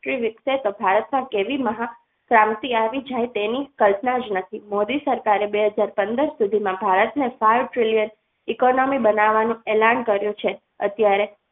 વ્યક્તિ મુકશે તો ભારતમાં કેવી મહાન ક્રાંતિ આવી જાય તેની કલ્પના જ નથી મોદી સરકારે બે હાજર પંદર સુધી ભારતને સહીથ ટ્રીલીયન economy બનાવવાનું એલાન કર્યું છે અત્યારે